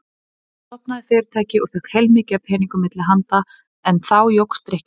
Ég stofnaði fyrirtæki og fékk heilmikið af peningum milli handa en þá jókst drykkjan.